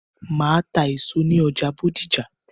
Màá ta èso ní ọjà Bódìjà